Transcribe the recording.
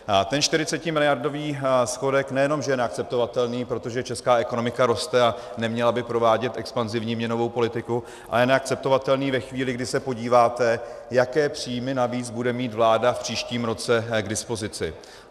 Ten 40miliardový schodek nejenom že je neakceptovatelný, protože česká ekonomika roste a neměla by provádět expanzivní měnovou politiku, ale je neakceptovatelný ve chvíli, kdy se podíváte, jaké příjmy navíc bude mít vláda v příštím roce k dispozici.